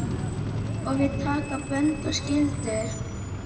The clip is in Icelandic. Og við taka bönd og skyldur.